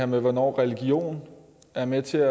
med hvornår religion er med til at